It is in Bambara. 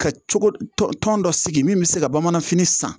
Ka cogo tɔn tɔn dɔ sigi min bɛ se ka bamananfini san